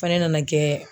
Fana nana kɛ